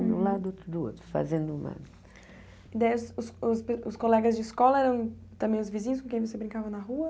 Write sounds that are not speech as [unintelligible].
Um do lado do outro, fazendo uma... [unintelligible] Os colegas de escola eram também os vizinhos com quem você brincava na rua?